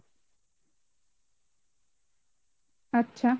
আচ্ছা